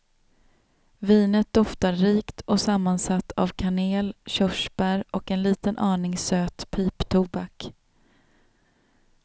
Vinet doftar rikt och sammansatt av kanel, körsbär och en liten aning söt piptobak.